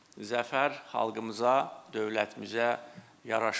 Zəfər xalqımıza, dövlətimizə yaraşır.